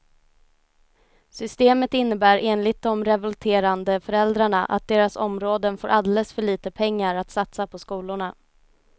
Systemet innebär enligt de revolterande föräldrarna att deras områden får alldeles för lite pengar att satsa på skolorna.